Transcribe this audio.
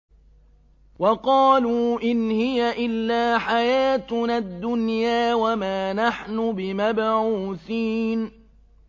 وَقَالُوا إِنْ هِيَ إِلَّا حَيَاتُنَا الدُّنْيَا وَمَا نَحْنُ بِمَبْعُوثِينَ